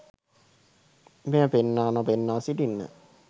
මෙය පෙන්වා නොපෙන්වා සිටින්න.